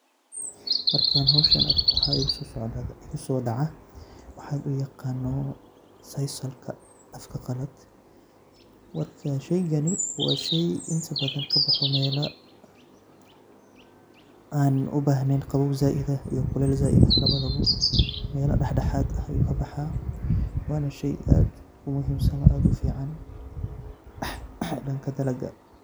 Markan howshan arko maxa iguso dhacaa waxa loo yaqaano sisal afka qalad, marka sheygani waa shey inta badan kaboxo mela an ubahneyn qabow zaaid ah iyo kulleyl zaaid ah labada bo mela dhaxdhaxad ah u kabaxaa wana shey aad u muhiimsan ona aad u fican dhanka dalaga